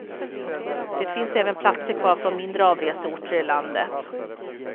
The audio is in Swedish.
Det finns även platser kvar från mindre avreseorter i landet.